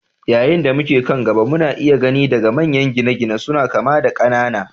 Yayin da muke kan gada, muna iya gani daga manyan gine-gine suna kama da ƙanana.